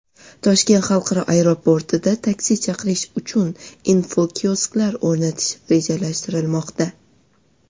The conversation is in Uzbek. Toshkent xalqaro aeroportida taksi chaqirish uchun infokiosklar o‘rnatish rejalashtirilmoqda.